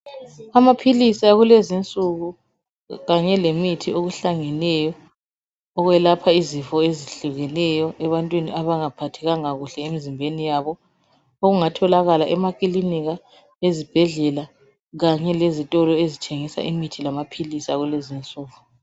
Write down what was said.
Amaphilisi akulezinsuku kanye lemithi okuhlangeneyo okwelapha izifo ezihlukileyo ebantwini abangaphathekanga kuhle emzimbeni yabo okungatholakala emakilinika ezibhedlela kanye lezitulo ezithengiswa amaphilisi lemithi akulezinsuku